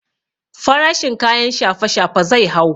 Farashin kayan shafe shafe zai hau